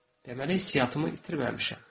Deməli hisssiyatımı itirməmişəm.